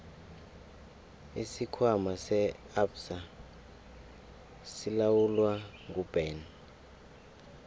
isikhwama se absa silawulwa nguben